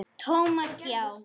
Thomas, já.